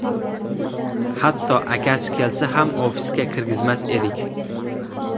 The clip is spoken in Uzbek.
Hatto akasi kelsa ham ofisga kirgizmas edik.